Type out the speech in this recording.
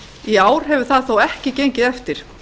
í ár hefur það þó ekki gengið eftir